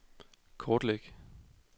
kortlæg